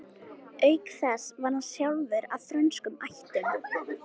Auk þess var hann sjálfur af frönskum ættum.